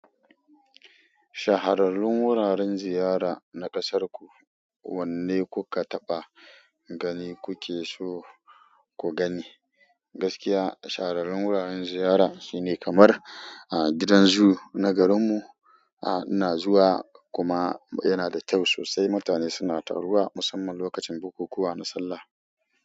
Shahararrun wuraren ziyara na ƙasarku wanne kuka taɓa gani, kukeso ku gani? Gaskiya shahararrun wuraren ziyara shine kamar gidan zoo na garinmu. Ina zuwa kuma yanada kyau sosai. Mutane suna taruwa musamman lokacin bukukuwa na sallah.